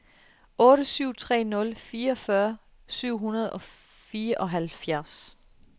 otte syv tre nul fireogfyrre syv hundrede og fireoghalvfjerds